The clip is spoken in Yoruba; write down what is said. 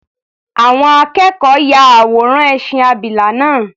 Àwọn akẹ́kọ̀ọ́ ya àwòrán ẹṣin abìlà náà.